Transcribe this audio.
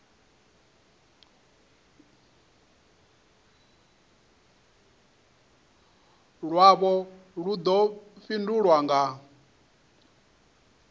lwavho lu ḓo fhindulwa nga